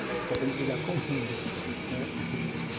Você só tem que brigar com o mundo, né?